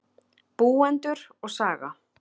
Búendur og saga.